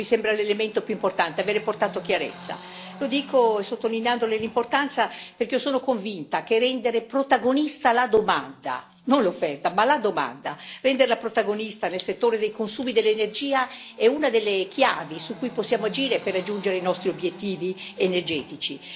Questo mi sembra l'elemento più importante, avere portato chiarezza. Lo dico, sottolineandone l'importanza, perché io sono convinta che rendere protagonista la domanda, e non l'offerta, nel settore dei consumi dell'energia sia una delle chiavi su cui possiamo agire per raggiungere i nostri obiettivi energetici.